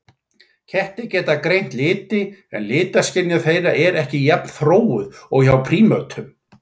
Kettir geta greint liti en litaskynjun þeirra er ekki jafn þróuð og hjá prímötum.